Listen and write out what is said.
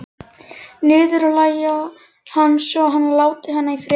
Niðurlægja hann svo að hann láti hana í friði.